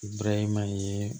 Brahima ye